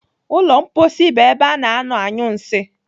Ụlọ mposi bụ ebe a na-anọ anyụ nsị.